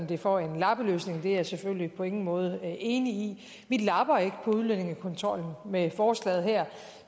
det for en lappeløsning det er jeg selvfølgelig på ingen måde enig i vi lapper ikke på udlændingekontrollen med forslaget her